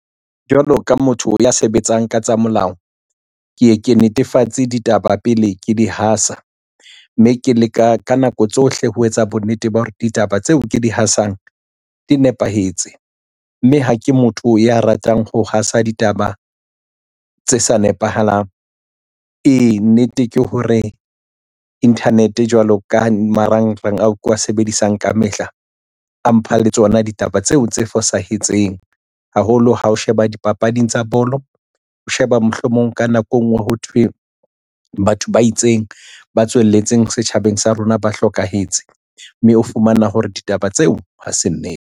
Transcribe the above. Jwalo ka motho ya sebetsang ka tsa molao ke ye ke netefatse ditaba pele ke di hasa, mme ke leka ka nako tsohle ho etsa bonnete ba hore ditaba tseo ke di hasang di nepahetse mme ha ke motho ya ratang ho hasa ditaba tse sa nepahalang. Ee, nnete ke hore internet jwalo ka marangrang ao ke wa sebedisang ka mehla a mpha le tsona ditaba tseo tse fosahetseng haholo ha o sheba dipapading tsa bolo o sheba mohlomong ka nako engwe ho thwe batho ba itseng ba tswelletseng setjhabeng sa rona ba hlokahetse mme o fumana hore ditaba tseo ha se nnete.